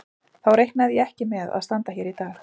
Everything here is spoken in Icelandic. Þá reiknaði ég ekki með að standa hér í dag.